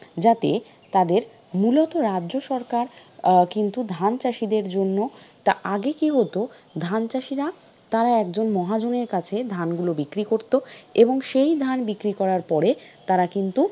যাতে তাদের মূলত রাজ্য সরকার আহ কিন্তু চাষীদের জন্য তা আগে কি হত ধান চাষীরা তারা একজন মহাজনের কাছে ধানগুলো বিক্রি করতো এবং সেই ধান বিক্রি করার পরে তারা কিন্তু,